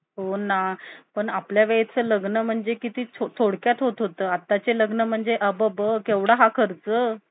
आठशे रुपये, नऊशे रुपये हजार रुपये म्हणजे त्याचे महिन्याचे~ महिन्याला तो तीस हजार रुपये त्याचे, स्वतः दुकान मध्ये बसल्या बसल्या कमावतोय.